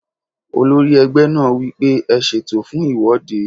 Olórí ẹgbẹ́ náà wí pé "ẹ ṣètò fún ìwọ́de!"